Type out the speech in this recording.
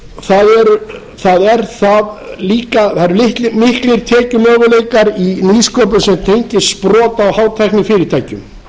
atvinnusköpunar eru miklir það eru miklir tekjumöguleikar í nýsköpun sem tengist sprota og hátæknifyrirtækjum